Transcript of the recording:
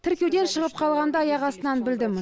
тіркеуден шығып қалғанымды аяқ астынан білдім